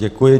Děkuji.